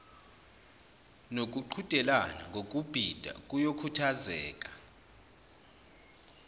nokuqhudelana ngokubhida kuyokhuthazeka